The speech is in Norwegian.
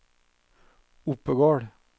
Oppegård